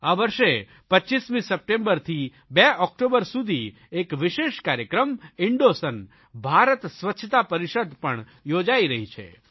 આ વર્ષે 25મી સપ્ટેમ્બરથી 2 ઓકટોબર સુધી એક વિશેષ કાર્યક્રમ ઇન્ડોસન ભારત સ્વચ્છતા પરિષદ પણ યોજાઇ રહી છે